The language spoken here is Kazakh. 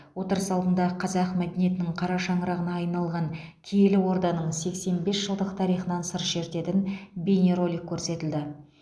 отырыс алдында қазақ мәдениетінің қара шаңырағына айналған киелі орданың сексен бес жылдық тарихынан сыр шертетін бейнеролик көрсетілді